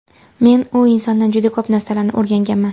Men u insondan juda ko‘p narsalarni o‘rganganman.